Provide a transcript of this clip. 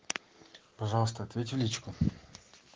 пожалуйста ответь в личку